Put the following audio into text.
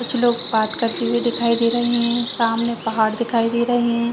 कुछ लोग बात करते हुए दिखाई दे रहे है सामने पहाड़ दिखाई दे रहे है।